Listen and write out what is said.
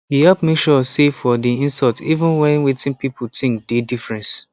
he help make sure say for di insult even when wetin people think dey difference